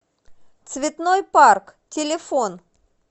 цветной парк телефон